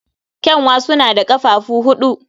Ƙyanwa suna da ƙafafuwa huɗu.